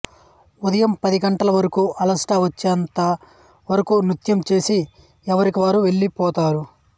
ఉదయం పది గంటల వరకూ అలసట వచ్చేంత వరకూ నృత్యం చేసి ఎవరికి వారు వెళ్ళి పోతారు